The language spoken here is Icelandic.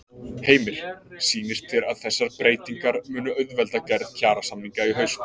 Heimir: Sýnist þér að þessar breytingar munu auðvelda gerð kjarasamninga í haust?